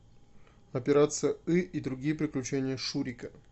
операция ы и другие приключения шурика